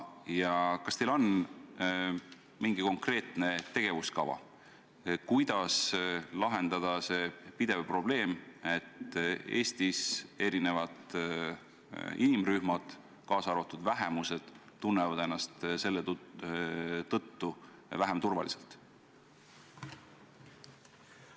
Ja kas teil on mingisugune konkreetne tegevuskava, kuidas lahendada pidev probleem, et eri inimrühmad, kaasa arvatud vähemused, tunnevad ennast Eestis selle tõttu vähem turvaliselt?